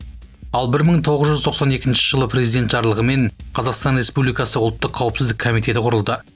ал бір мың тоғыз жүз тоқсан екінші жылы президент жарлығымен қазақстан республикасы ұлттық қауіпсіздік комитеті құрылды